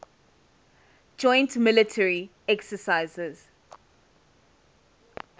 joint military exercises